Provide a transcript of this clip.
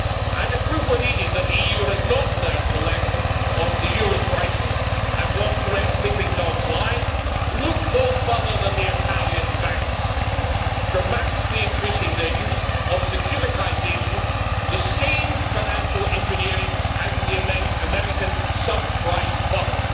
And if proof were needed that the EU has not learnt the lesson of the euro crisis and wants to let sleeping dogs lie, look no further than the Italian banks, dramatically increasing their use of securitisation the same financial engineering as in the American sub prime bubble.